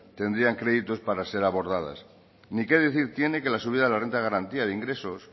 tendrían créditos para ser abordadas ni qué decir tiene que la subida de la renta de garantía de ingresos